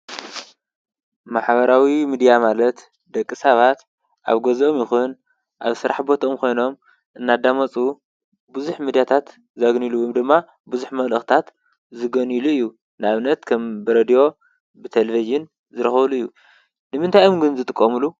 ማሕበራዊ ምድያ ማለት ደቂ ሰባት ኣብ ገዝኦም ይኹን ኣብ ስራሕ ቦትኦም ኮይኖም እናዳመፁ ብዙሕ ምድያታት ዝረክቡሉ ወይ ድማ ብዙሕ መልእክታት ዝገንይሉ እዩ። ንኣብነት ከም ብሬድዮ ብቴሌቨን ዝረክቡሉ እዩ። ንምንታይ እዮም ግን ዝጥቀምሉ?